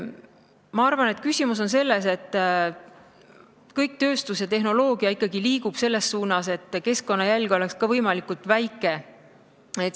Ma arvan, et küsimus on selles, et kogu tööstus ja tehnoloogia liigub ikkagi selles suunas, et keskkonnajälg oleks võimalikult väike.